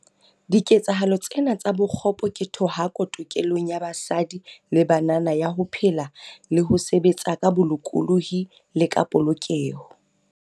Diketsahalo tsena tsa bokgopo ke thohako tokelong ya basadi le banana ya ho phela le ho sebetsa ka bolokolohi le ka polokeho.